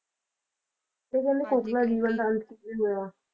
ਤੇ ਕਹਿੰਦੇ Kokla ਦੇ ਜੀਵਨ ਦਾ ਅੰਤ ਕੀ ਹੋਇਆ